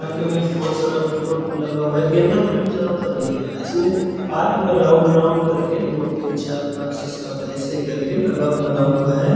Park में बहुत सारा फुल लगा हुआ है गेंदा का फुल ज्यादातर दिख रहा है इसमें पार्क में राउंड राउंड करके दो तीन चार पांच छे सात ऐसे करके लगा बना हुआ है।